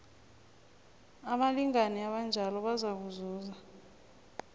abalingani abanjalo bazakuzuza